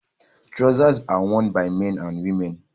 Trousers are worn by men and women